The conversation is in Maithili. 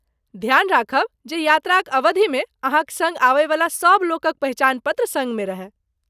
ध्यान राखब जे यात्राक अवधिमे अहाँक सङ्ग आबयवला सभ लोकक पहिचान पत्र संग मे रहय।